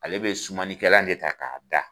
Ale bɛ sumani kɛlan de ta k'a da.